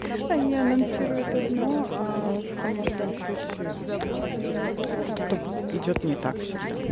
они анонсирует одно а в конечном счетё что-то идёт не так всегда